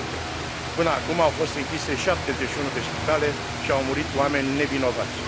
200. Până acum au fost închise 71 de spitale și au murit oameni nevinovați.